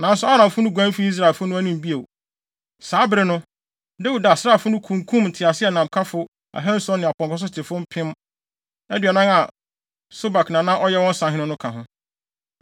Nanso Aramfo no guan fii Israelfo no anim bio. Saa bere no, Dawid asraafo no kunkum nteaseɛnamkafo ahanson ne apɔnkɔsotefo mpem aduanan a Sobak a na ɔyɛ wɔn sahene no ka ho.